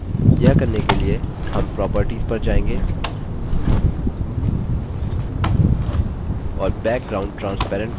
यह करने के लिए हम properties पर जाएँगे और background transparent को no में बदल change